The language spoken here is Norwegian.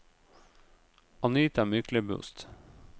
Anita Myklebust